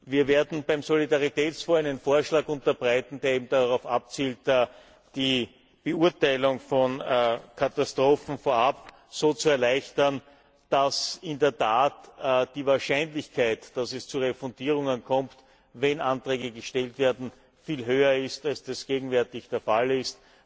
Wir werden beim Solidaritätsfonds einen Vorschlag unterbreiten, der darauf abzielt, die Beurteilung von Katastrophen vorab so zu erleichtern, dass in der Tat die Wahrscheinlichkeit, dass es zu Refundierungen kommt, wenn Anträge gestellt werden, viel höher ist als das gegenwärtig der Fall ist.